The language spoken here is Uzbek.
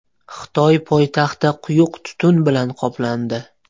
Xitoy poytaxti quyuq tutun bilan qoplandi .